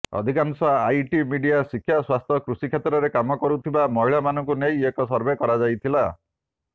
ଅଧିକାଂଶ IT media ଶିକ୍ଷା ସ୍ୱାସ୍ଥ୍ୟ କୃଷିକ୍ଷେତ୍ରରେ କାମ କରୁଥିବା ମହିଳାମାନଙ୍କୁ ନେଇ ଏହି ସର୍ଭେ କରାଯାଇଥିଲା